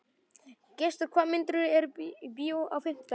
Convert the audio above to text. Gestur, hvaða myndir eru í bíó á fimmtudaginn?